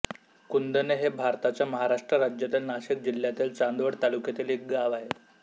कुंदणे हे भारताच्या महाराष्ट्र राज्यातील नाशिक जिल्ह्यातील चांदवड तालुक्यातील एक गाव आहे